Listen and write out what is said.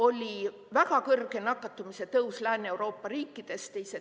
Oli väga kõrge nakatumise tõus Lääne-Euroopa riikides.